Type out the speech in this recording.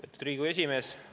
Austatud Riigikogu esimees!